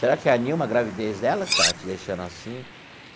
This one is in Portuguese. Será que é a Nilma, a gravidez dela, que está te deixando assim?